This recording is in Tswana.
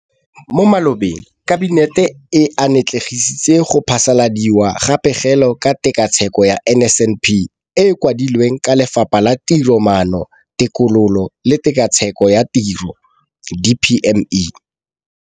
Mo malobeng Kabinete e atlenegisitse go phasaladiwa ga Pegelo ka Tshekatsheko ya NSNP e e kwadilweng ke Lefapha la Tiromaano, Tekolo le Tshekatsheko ya Tiro DPME.